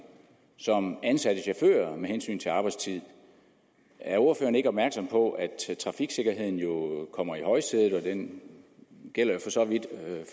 som ansatte chauffører med hensyn til arbejdstid er ordføreren ikke opmærksom på at trafiksikkerheden jo kommer i højsædet og den gælder jo for så vidt